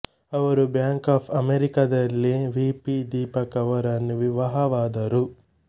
ಅವರು Bank of America ದಲ್ಲಿ VP Deepak ಅವರನ್ನು ವಿವಾಹವಾದರು